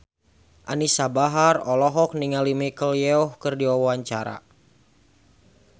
Anisa Bahar olohok ningali Michelle Yeoh keur diwawancara